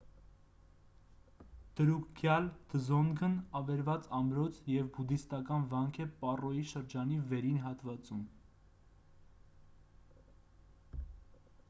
դրուկգյալ դզոնգն ավերված ամրոց և բուդդիստական վանք է պառոյի շրջանի վերին հատվածում ֆոնդեյ գյուղում: